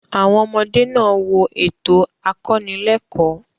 Àwọn ọmọdé náà wo ètò akọnílẹ́ẹ̀kọ́.